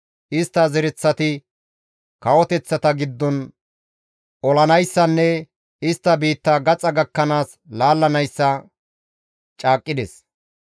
Istta zereththati kawoteththata giddon olettanayssanne istti biitta gaxa gakkanaas laalettanayssa yootides.